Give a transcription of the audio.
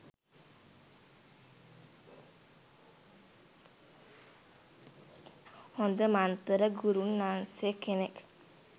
හොද මන්තර ගුරුන්නාන්සේ කෙනෙක්.